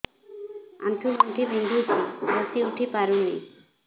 ଆଣ୍ଠୁ ଗଣ୍ଠି ବିନ୍ଧୁଛି ବସିଉଠି ପାରୁନି